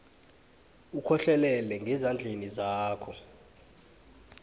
ukhohlelele ngezandleni zakho